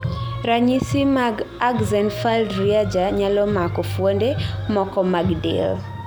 ranyisi mag Axenfeld-Rieger nyalo mako fuonde moko mag del